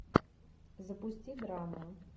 запусти драму